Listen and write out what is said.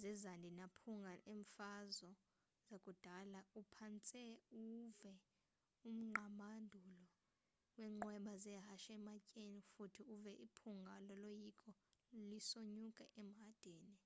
zezandi namaphunga eemfazo zakudala uphantse uwuve umgqabadulo weenqweba zehashe ematyeni futhi uve iphunga loloyiko lisonyuka emhadini